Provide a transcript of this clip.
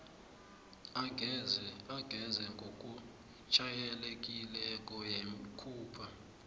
angeze ngokujayelekileko yakhupha